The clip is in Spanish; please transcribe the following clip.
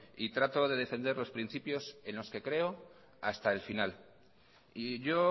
y trato de defender los principios en los que creo hasta el final y yo